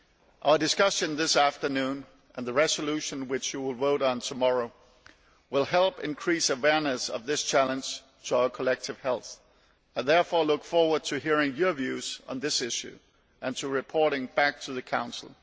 Our discussion this afternoon, and the resolution which you will vote on tomorrow, will help increase awareness of this challenge to our collective health. I therefore look forward to hearing your views on this issue and to reporting back to the Council.